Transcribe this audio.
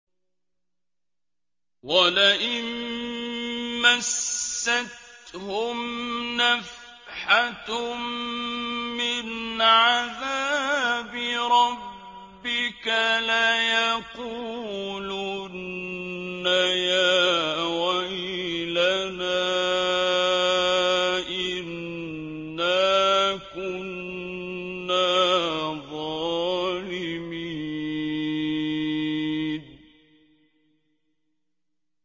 وَلَئِن مَّسَّتْهُمْ نَفْحَةٌ مِّنْ عَذَابِ رَبِّكَ لَيَقُولُنَّ يَا وَيْلَنَا إِنَّا كُنَّا ظَالِمِينَ